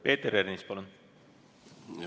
Peeter Ernits, palun!